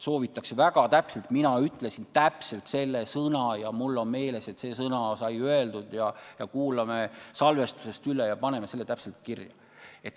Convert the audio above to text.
Soovitakse väga täpset sõnastust ning öeldakse, et mina ütlesin täpselt selle sõna ja mul on meeles, et see sõna sai öeldud, ja kuulame salvestise üle ja paneme selle täpselt kirja.